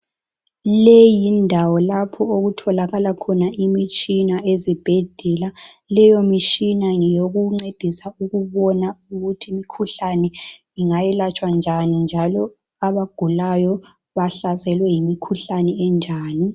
Leyi yindawo lapho okutholakala khona imitshina ezibhedlela leyo mitshina ngeyokuncedisa ukubona ukuthi imikhuhlane ingayelatshwa njani njalo abagulayo bahlaselwe yimikhuhlane enjani.